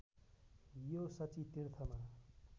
यो शची तीर्थमा